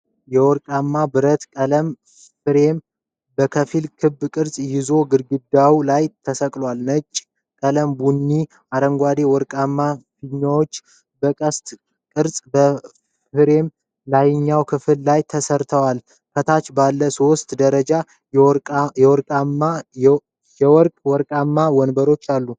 የወርቃማ ብረት ቀለበት ፍሬም ከፊል ክብ ቅርጽ ይዞ ግድግዳው ላይ ተሰቅሏል። ነጭ፣ ቀላል ቡኒ፣ አረንጓዴና ወርቃማ ፊኛዎች በቅስት ቅርጽ በፍሬሙ ላይኛው ክፍል ላይ ተሰርተዋል። ከታች ባለ ሶስት ደረጃ የወርቅ ማቆሚያ ወንበር አለ።